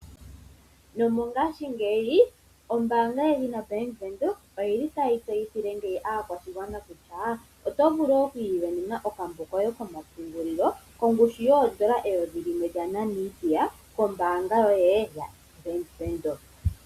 Nomongashingeyi ombaanga yedhina Bank Windhoek oyili tayi tseyithile ngeyi aakwashigwana kutya oto vulu okwii venena okambo koye komapungulilo kongushu N$ 1000 kombaanga yoye yaBank Windhoek.